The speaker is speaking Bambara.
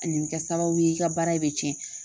A ni bɛ kɛ sababu ye i ka baara bɛ cɛn